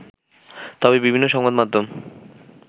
তবে বিভিন্ন সংবাদ মাধ্যম